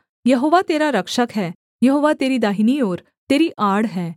यहोवा तेरा रक्षक है यहोवा तेरी दाहिनी ओर तेरी आड़ है